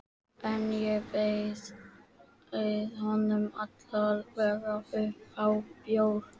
En ég bauð honum alla vega upp á bjór.